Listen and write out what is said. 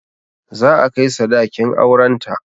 Za a kai sadakin auren ta